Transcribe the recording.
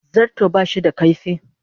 Zarto ba shi da kaifi.